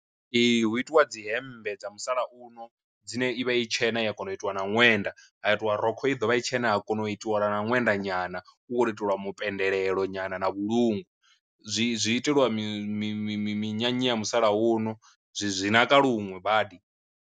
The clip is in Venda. Ee hu itiwa dzi hembe dza musalauno dzine ivha i tshena i ya kona u itiwa na ṅwenda, ha itiwa rokho i ḓovha i tshena ha kona u itiwa nga ṅwenda nyana u khou iteliwa mupendelelo nyana na vhulungu, zwi zwi itelwa mi mi mi minyanya ya musalauno zwi zwi naka luṅwe badi.